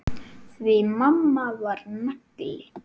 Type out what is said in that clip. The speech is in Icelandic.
Því mamma var nagli.